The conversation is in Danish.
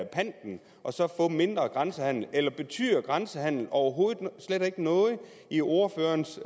panten og så få mindre grænsehandel eller betyder grænsehandel overhovedet ikke noget i ordførerens